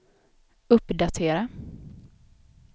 uppdatera